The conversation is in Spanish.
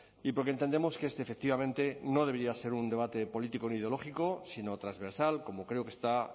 y porque entendemos que este efectivamente no debería ser un debate político ni ideológico sino transversal como creo que está